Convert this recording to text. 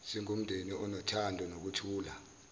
singumndeni onothando nokuthula